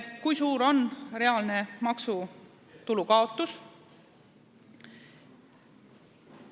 Kui suur on reaalne maksutulu kaotus?